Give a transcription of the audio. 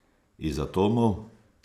Iz atomov?